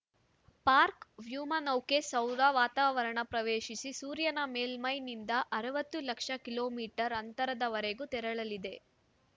park ವ್ಯೋಮನೌಕೆ ಸೌದ ವಾರಾವರಣ ಪ್ರವೇಶಿಸಿ ಸೂರ್ಯನ ಮೇಲ್ಮೈನಿಂದ ಅರವತ್ತು ಲಕ್ಷ ಕಿಲೋ ಮೀಟರ್ ಅಂತರದವರೆಗೆ ತೆರಳಲಿದೆ